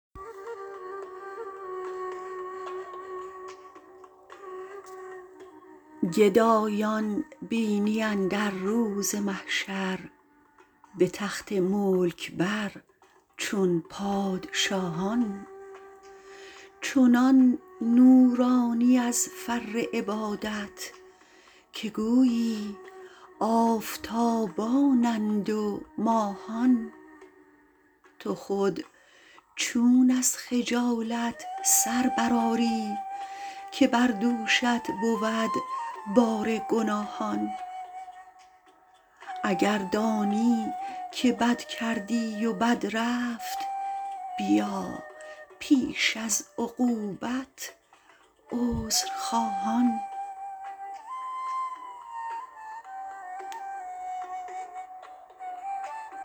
خدایا فضل کن گنج قناعت چو بخشیدی و دادی ملک ایمان گرم روزی نماید تا بمیرم به از نان خوردن از دست لییمان